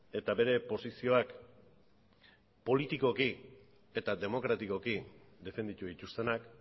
eta bere posizioak politikoki eta demokratikoki defenditu dituztenak